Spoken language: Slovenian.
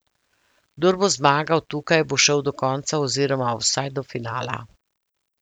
Kdor bo zmagal tukaj, bo šel do konca oziroma vsaj do finala.